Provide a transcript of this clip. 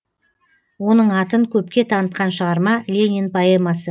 оның атын көпке танытқан шығарма ленин поэмасы